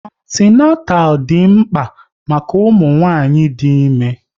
Antinatal dị mkpa maka ụmụnwanyị dị ime